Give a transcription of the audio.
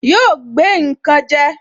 Yóò gbé nkan je